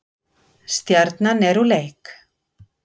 Stjarnan er úr leik